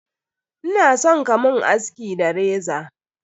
Ina son ka mun aski da reza.